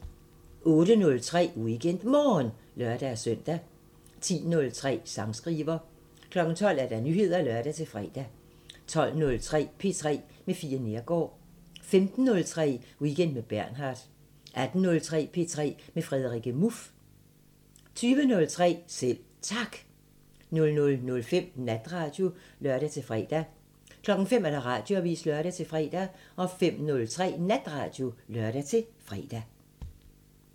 08:03: WeekendMorgen (lør-søn) 10:03: Sangskriver 12:00: Nyheder (lør-fre) 12:03: P3 med Fie Neergaard 15:03: Weekend med Bernhard 18:03: P3 med Frederikke Muff 20:03: Selv Tak 00:05: Natradio (lør-fre) 05:00: Radioavisen (lør-fre) 05:03: Natradio (lør-fre)